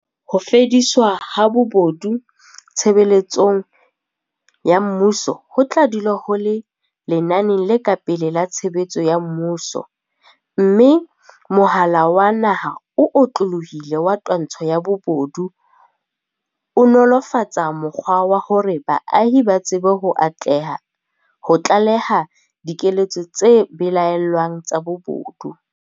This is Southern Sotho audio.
Ho fediswa ha bobo du tshebeletsong ya mmuso ho tla dula ho le lenaneng le ka pele la tshebetso ya mmuso, mme Mohala wa Naha o Otlolohileng wa Twantsho ya Bobodu o nolo -fatsa mokgwa wa hore baahi ba tsebe ho tlaleha diketso tse belaellwang tsa bobodu.